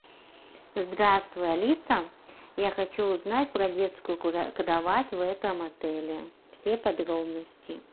здравствуй алиса я хочу узнать про детскую кровать в этом отеле все подробности